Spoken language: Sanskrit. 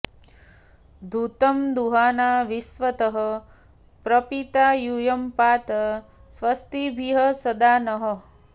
घृतं दुहाना विश्वतः प्रपीता यूयं पात स्वस्तिभिः सदा नः